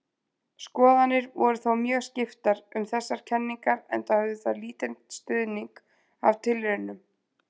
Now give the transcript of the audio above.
Skoðanir voru þó mjög skiptar um þessar kenningar enda höfðu þær lítinn stuðning af tilraunum.